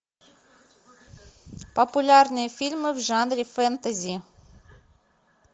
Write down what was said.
популярные фильмы в жанре фэнтези